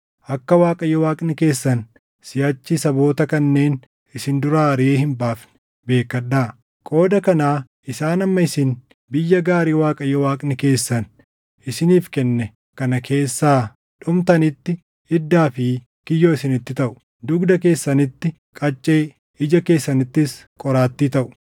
akka Waaqayyo Waaqni keessan siʼachi saboota kanneen isin duraa ariʼee hin baafne beekkadhaa. Qooda kanaa isaan hamma isin biyya gaarii Waaqayyo Waaqni keessan isiniif kenne kana keessaa dhumtanitti iddaa fi kiyyoo isinitti taʼu; dugda keessanitti qaccee, ija keessanittis qoraattii taʼu.